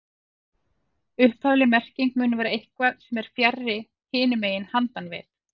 Upphafleg merking mun vera eitthvað sem er fjarri, hinum megin, handan við